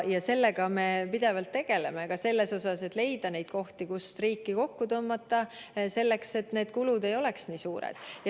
Ja sellega me pidevalt tegeleme, ka selles osas, et leida neid kohti, kust riiki kokku tõmmata, et need kulud ei oleks nii suured.